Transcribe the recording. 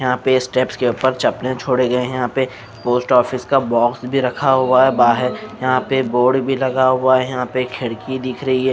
यहाँ पे स्टेप्स के ऊपर चपले छोड़े गए हैं यहाँ पे पोस्ट ऑफिस का बॉक्स भी रखा हुआ है बाहर यहाँ पे बोर्ड भी लगा हुआ है यहाँ पे खिड़की दिख रही है।